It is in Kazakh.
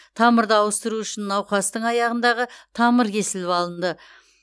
тамырды ауыстыру үшін науқастың аяғындағы тамыр кесіліп алынды